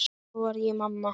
Svo varð ég mamma.